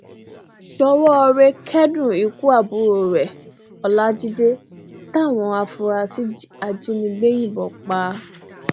ṣowórẹ kẹdùn ikú àbúrò rẹ ọlajide táwọn afurasí ajínigbé yìnbọn pa